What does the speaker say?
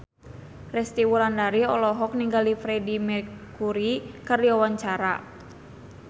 Resty Wulandari olohok ningali Freedie Mercury keur diwawancara